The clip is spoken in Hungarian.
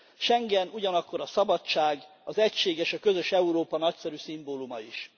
Schengen ugyanakkor a szabadság, az egység és a közös Európa nagyszerű szimbóluma is.